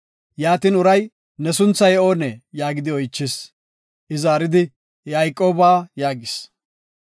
Uray, “Ne sunthay oonee?” yaagidi oychis. I zaaridi, “Yayqooba” yaagis.